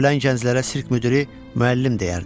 Ölən gənclərə sirk müdiri müəllim deyərdi.